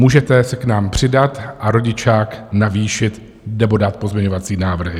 Můžete se k nám přidat a rodičák navýšit nebo dát pozměňovací návrhy.